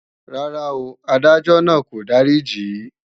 Rárá o, Adájọ́ náà kò dáríjì í